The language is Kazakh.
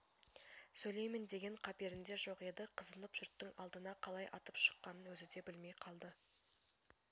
сөйлеймін деген қаперінде жоқ еді қызынып жұрттың алдына қалай атып шыққанын өзі де білмей қалды